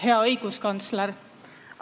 Hea õiguskantsler!